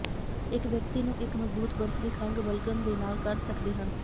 ਇੱਕ ਵਿਅਕਤੀ ਨੂੰ ਇੱਕ ਮਜ਼ਬੂਤ ਬਰਫ ਦੀ ਖੰਘ ਬਲਗਮ ਦੇ ਨਾਲ ਕਰ ਸਕਦੇ ਹਨ